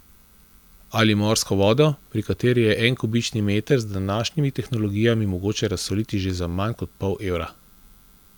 Ali morsko vodo, pri kateri je en kubični meter z današnjimi tehnologijami mogoče razsoliti že za manj kot pol evra.